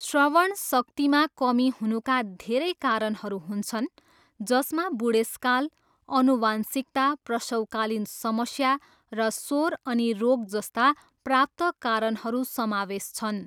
श्रवणशक्तिमा कमी हुनुका धेरै कारणहरू हुन्छन्, जसमा बुढेसकाल, आनुवंशिकता, प्रसवकालीन समस्या र शोर अनि रोग जस्ता प्राप्त कारणहरू समावेश छन्।